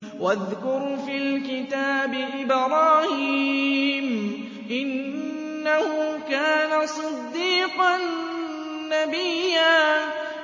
وَاذْكُرْ فِي الْكِتَابِ إِبْرَاهِيمَ ۚ إِنَّهُ كَانَ صِدِّيقًا نَّبِيًّا